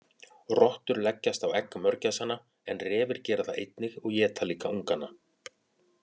Rottur leggjast á egg mörgæsanna en refir gera það einnig og éta líka ungana.